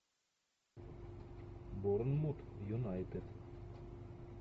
борнмут юнайтед